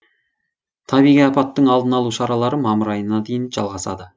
табиғи апаттың алдын алу шаралары мамыр айына дейін жалғасады